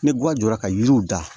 Ni guwan jɔra ka yiriw dan